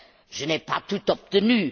Je n'ai pas tout obtenu.